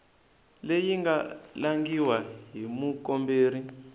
leyi nga langhiwa hi mukomberi